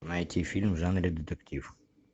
найти фильм в жанре детектив